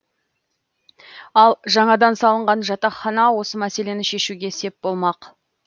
ал жаңадан салынған жатақхана осы мәселені шешуге сеп болмақ